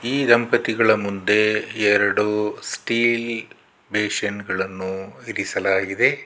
ಈ ದಂಪತಿಗಳ ಮುಂದೆ ಎರಡು ಸ್ಟೀಲ್ ಬೇಸಿನ್ ಗಳನ್ನು ಇರಿಸಲಾಗಿದೆ.